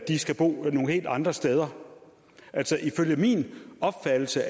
skal bo nogle helt andre steder ifølge min opfattelse